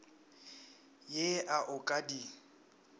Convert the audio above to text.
ye a o ka di